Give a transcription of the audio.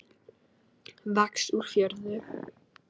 Vaxa úr jörðu.